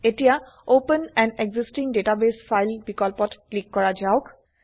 এতিয়া open an existing ডাটাবাছে file বিকল্পত ক্লিক কৰা যাওক